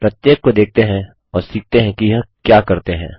प्रत्येक को देखते हैं और सीखते हैं कि यह क्या करते हैं